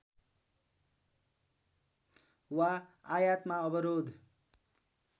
वा आयातमा अवरोध